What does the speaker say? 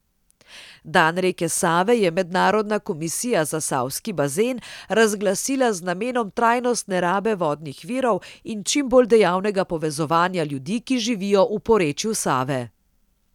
Dan reke Save je Mednarodna komisija za Savski bazen razglasila z namenom trajnostne rabe vodnih virov in čim bolj dejavnega povezovanja ljudi, ki živijo v porečju Save.